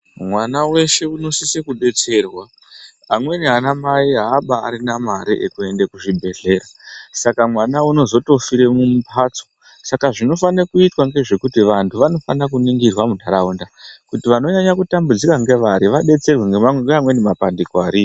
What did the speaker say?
Mwana weshe unosisa kudetserwa amweni anamai haabarina mare yekuenda kuzvibhedhlera saka mwana unozotofire mumphatso saka zvinofane kuitwa ngezvekuti vanthu vanofana kuningirwa muntaraunda kuti vaninyanya kutambudzika ngevari vadetserwe ngeamweni mabandiko ariyo.